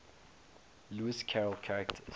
lewis carroll characters